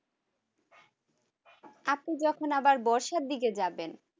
আপনি যখন আবার বর্ষার দিকে যাবেন